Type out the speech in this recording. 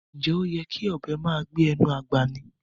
Ǹjẹ́ oyè́ kí ọbẹ màá gbẹ̀ inú agbá mí?